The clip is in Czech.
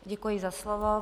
Děkuji za slovo.